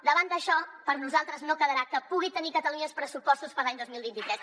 davant d’això per nosaltres no quedarà que pugui tenir catalunya els pressupostos per a l’any dos mil vint tres